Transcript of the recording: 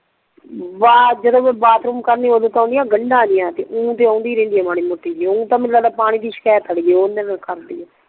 ਬਾਤ ਜਦੋਂ ਮੈਂ ਬਾਥਰੂਮ ਕਰਦੀ ਆ ਉਦੋਂ ਤੇ ਓਨਦੀ ਆ ਗੰਡਾ ਜੀਅ ਤੇ ਊ ਤੇ ਓਨਦੀ ਰਿਹੰਦੀ ਆ ਮਾੜੀ ਮੋਟੀ ਜੀ ਮੈਂਨੂੰ ਲੱਗਦਾ ਪਾਣੀ ਦੀ ਸ਼ਿਕਾਅਤ ਲੱਗਦੀ ਆ